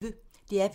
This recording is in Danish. DR P1